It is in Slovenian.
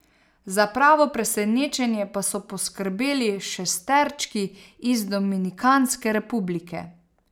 Za pravo presenečenje pa so poskrbeli šesterčki iz Dominikanske republike.